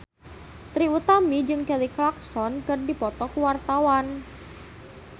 Trie Utami jeung Kelly Clarkson keur dipoto ku wartawan